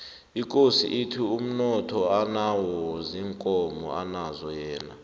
ikosi ithi umnotho anawo ziinkomo anazo yena